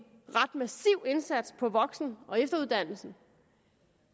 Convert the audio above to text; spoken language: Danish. ret massiv indsats for voksen og efteruddannelsen